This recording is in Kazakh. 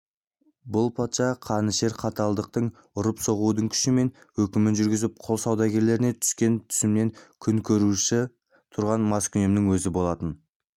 бұл патша қанішер қаталдықтың ұрып-соғудың күшімен өкімін жүргізіп құл саудагерлерінен түскен түсіммен күн көруші тұрған маскүнемнің өзі болатын